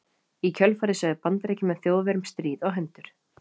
Í kjölfarið sögðu Bandaríkjamenn Þjóðverjum stríð á hendur.